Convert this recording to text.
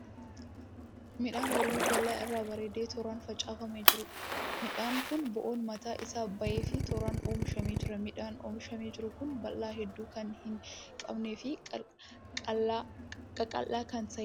Midhaan oyiruu bal'aa irra bareedee tooraan facaafamee jiruudha. Midhaanni kun bo'oon mataan isaa ba'eefii tooraan oomishamee jira. Midhaanni oomishamee jiru kun baala hedduu kan hin qabnee fi qaqal'aa kan ta'eedha.